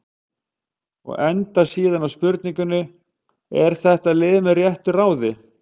Og endar síðan á spurningunni: Er þetta lið með réttu ráði?